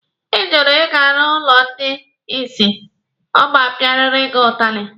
Ị jụrụ ịga n'ụlọ ndị isi, a ma-apịarịrị gị ụtalị!